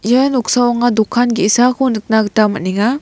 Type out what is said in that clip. ia noksao anga dokan ge·sako nikna gita man·enga.